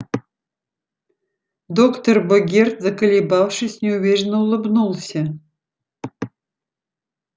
доктор богерт заколебавшись неуверенно улыбнулся